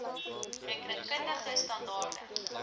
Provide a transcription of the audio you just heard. rekening kundige standaarde